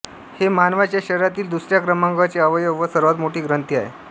हे मानवाच्या शरीरातील दुसऱ्या क्रमांकाचे अवयव व सर्वात मोठी ग्रंथी आहे